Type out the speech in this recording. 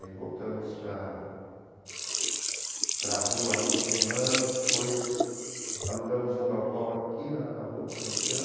Aí voltamos para a para a rua por um ano, depois alugamos um galpão aqui na na Rua Butantã,